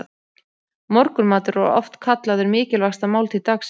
Morgunmatur er oft kallaður mikilvægasta máltíð dagsins.